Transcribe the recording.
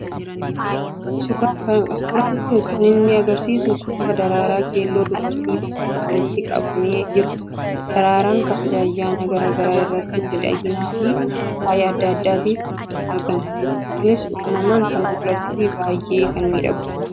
Suuraan kun kan inni agarsiisu suuraa daraaraa keelloo dubartii tokkoon walitti qabamee jirudha. Daraaraan kabaja ayyaana gara garaa irratti miidhaginaa fi faaya adda addaaf argama. Kunis uumamaan kan mul'atuu fi baay'ee kan miidhagudha.